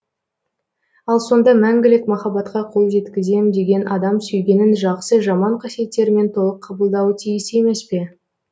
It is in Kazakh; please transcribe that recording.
ал сонда мәңгілік махаббатқа қол жеткізем деген адам сүйгенін жақсы жаман қасиеттерімен толық қабылдауы тиіс емес пе